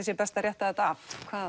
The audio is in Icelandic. sé best að rétta þetta af